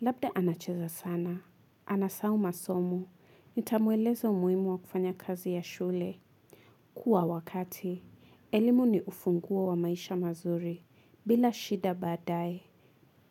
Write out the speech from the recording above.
Labda anacheza sana. Anasahau masomo. Nitamueleza umuhimu wa kufanya kazi ya shule. Kuwa wakati. Elimu ni ufunguo wa maisha mazuri. Bila shida baadaye,